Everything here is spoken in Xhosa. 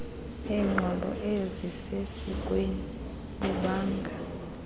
beenqobo ezisesikweni bubanga